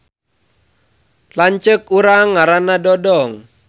Lanceuk urang ngaranna Dodong